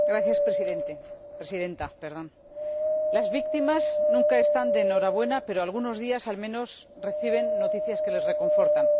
Señora Presidenta, las víctimas nunca están de enhorabuena pero algunos días, al menos, reciben noticias que las reconfortan.